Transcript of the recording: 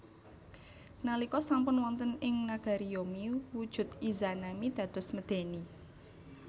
Nalika sampun wonten ing nagari Yomi wujud Izanami dados medèni